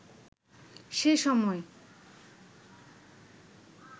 সে সময়